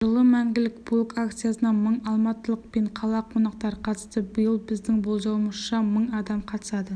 жылы мәңгілік полк акциясына мың алматылық пен қала қонақтары қатысты биыл біздің болжауымызша мың адам қатысады